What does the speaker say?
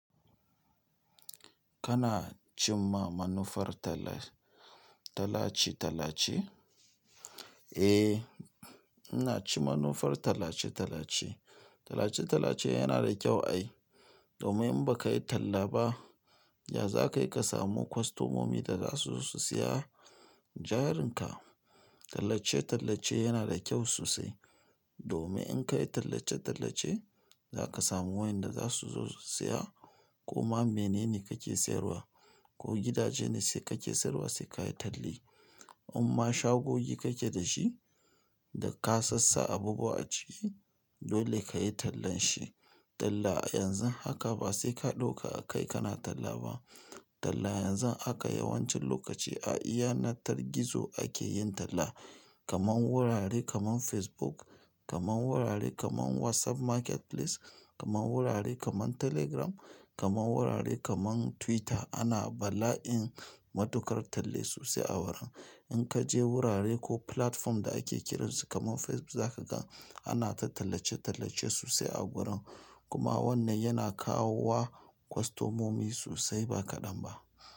Kana cimma manufar talla tallace-tallace? Eh, ina ci manufar tallace-tallace. Tallace-tallace yana da kyau ai. Domin in baka yi talla ba, ya za ka yi ka samu kwastomomi da za su zo su saya jarin ka? Tallace-tallace yana da kyau sosai. Domin in ka yi tallace-tallace, za ka samu wayanda za su zo su saya. Ko ma menene kake sayarwa, ko gidaje ne sai kake sayarwa sai ka yi talli. In ma shagogi kake da shi da ka sassa abubuwa a ciki, dole ka yi tallan shi. Talla yanzu haka ba sai ka ɗauka a kai kana talla ba. Talla yanzu haka yawancin lokaci a yanar gizo ake yin talla. Kaman wurare kaman Facebook, kaman wurare kaman WhatsApp Marketplace, kaman wurare kaman Telegram, kaman wurare kaman Twitter. Ana bala'in matukar talla sosai a wurin. In ka je wurare ko platform da ake kiransu kaman Facebook za ka ga ana ta tallace-tallace sosai a gurin. Kuma wannan yana kawo wa kwastomomi sosai ba kaɗan ba.